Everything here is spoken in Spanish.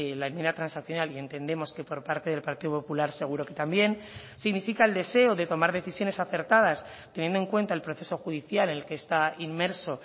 la enmienda transaccional y entendemos que por parte del partido popular seguro que también significa el deseo de tomar decisiones acertadas teniendo en cuenta el proceso judicial en el que está inmerso